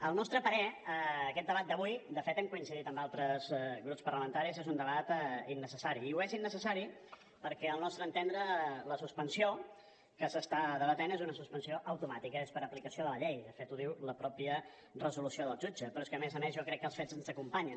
al nostre parer aquest debat d’avui de fet hem coincidit amb altres grups parlamentaris és un debat innecessari i ho és innecessari perquè al nostre entendre la suspensió que s’està debatent és una suspensió automàtica és per aplicació de la llei de fet ho diu la mateixa resolució del jutge però és que a més a més jo crec que els fets ens acompanyen